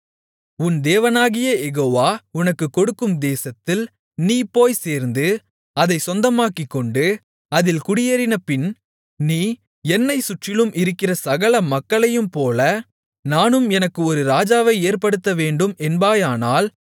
உன் தேவனாகிய யெகோவா உனக்குக் கொடுக்கும் தேசத்தில் நீ போய்ச் சேர்ந்து அதைச் சொந்தமாக்கிக்கொண்டு அதில் குடியேறினபின் நீ என்னைச் சுற்றிலும் இருக்கிற சகல மக்களையும்போல நானும் எனக்கு ஒரு ராஜாவை ஏற்படுத்தவேண்டும் என்பாயானால்